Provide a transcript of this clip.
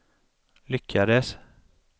lyckades